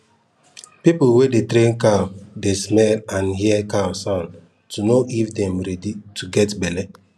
people wey dey train cow dey smell and hear cow sound to know if dem ready to get belle